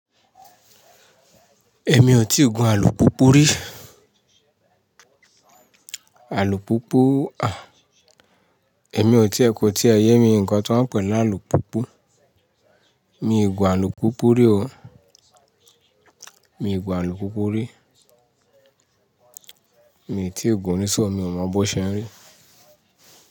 Èmi ò tí gun alùpùpù rí. Alùpùpù, à, èmi ò tí ẹ ko tíẹ ye mi ń kan tán pe ni alùpùpù. Èmi ò gun alùpùpù rí o. Èmi ò gun alùpùpù rí. Èmi ò tí ì gun o rí ṣọ, mi ò mọ bó ṣẹ́ rí.